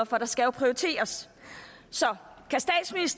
for der skal jo prioriteres så